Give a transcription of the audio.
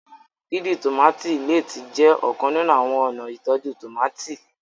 dídì tomati lẹẹ tí jé ọkan nínú àwọn ọna ìtọjú tomati